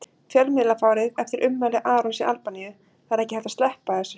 Fjölmiðlafárið eftir ummæli Arons í Albaníu Það er ekki hægt að sleppa þessu.